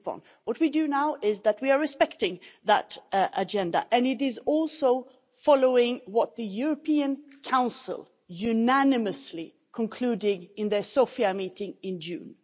What we do now is that we are respecting that agenda, and it is also following what the European Council unanimously concluded in their Sofia meeting in June.